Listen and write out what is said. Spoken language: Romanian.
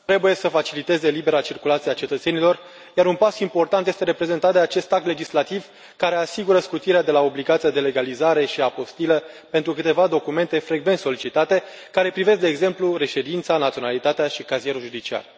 Domnule președinte, trebuie să faciliteze libera circulație a cetățenilor, iar un pas important este reprezentat de acest act legislativ, care asigură scutirea de la obligația de legalizare și apostilă pentru câteva documente frecvent solicitate, care privesc, de exemplu, reședința, naționalitatea și cazierul judiciar.